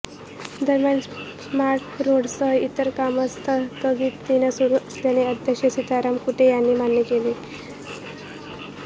दरम्यान स्मार्ट रोडसह इतर कामं संथगतीनं सुरु असल्याचं अध्यक्ष सिताराम कुंटे यांनी मान्य केलं